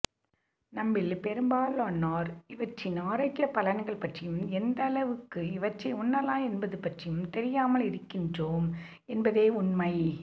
நம்மில் பெரும்பாலானோர் இவற்றின் ஆரோக்கியப் பலன்கள் பற்றியும் எந்தளவுக்கு இவற்றை உண்ணலாம் என்பது பற்றியும் தெரியாமல் இருக்கின்றோம் என்பதே உண்மை